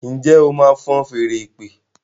njé o má wón ṣe fọ́n Fèèrè ìpè?